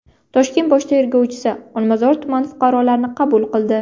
Toshkent bosh tergovchisi Olmazor tumani fuqarolarini qabul qildi.